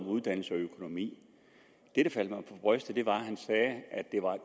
uddannelse og økonomi det der faldt mig for brystet var at han sagde at det er